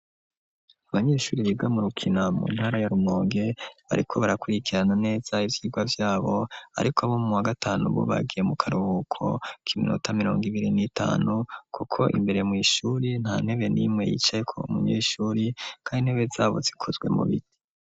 Abanyeshure biga mu rukina mu ntara ya rumonge, bariko barakurikirana neza ivyigwa vyabo ariko abo muwa gatanu bo bagiye mu karubuko k'iminota mirongo ibiri n'itanu kuko imbere mw'ishure nta ntebe nimwe yicayeko umunyeshure kandi intebe zabo zikozwe mu biti.